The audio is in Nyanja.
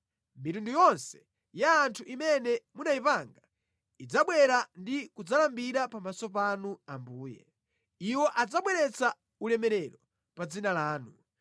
Mitundu yonse ya anthu imene munayipanga idzabwera ndi kudzalambira pamaso panu Ambuye; iwo adzabweretsa ulemerero pa dzina lanu.